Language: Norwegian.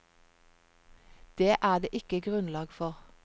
Det er det ikke grunnlag for.